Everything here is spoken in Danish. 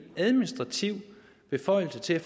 administrativ beføjelse til